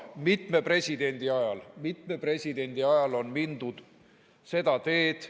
Mitme presidendi ajal on mindud seda teed.